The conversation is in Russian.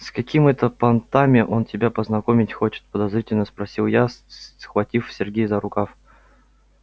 с какими это понтами он тебя познакомить хочет подозрительно спросила я схватив сергея за рукав